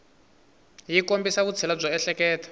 yi kombisa vutshila byo ehleketa